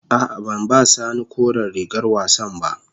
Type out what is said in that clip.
A'a, ban ba sani koren rigar wassan ba.